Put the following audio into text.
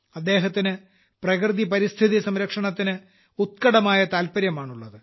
അദ്ദേഹത്തിന് പ്രകൃതി പരിസ്ഥിതി സംരക്ഷണത്തിന് ഉത്ക്കടമായ താൽപര്യമാണുള്ളത്